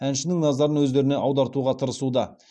әншінің назарын өздеріне аудартуға тырысуда